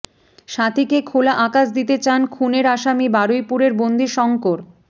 সাথীকে খোলা আকাশ দিতে চান খুনের আসামী বারুইপুরের বন্দি শংকর